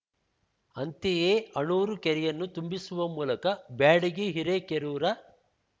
ಅಂತೆಯೇ ಅಣೂರು ಕೆರೆಯನ್ನು ತುಂಬಿಸುವ ಮೂಲಕ ಬ್ಯಾಡಗಿ ಹಿರೇಕೆರೂರ